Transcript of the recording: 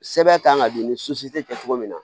Sɛbɛn kan ka di ni tɛ kɛ cogo min na